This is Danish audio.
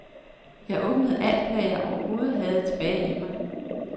Jeg åbnede for alt, hvad jeg overhovedet havde tilbage i mig.